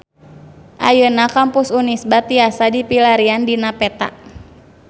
Ayeuna Kampus Unisba tiasa dipilarian dina peta